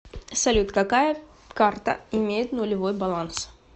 салют какая карта имеет нулевой баланс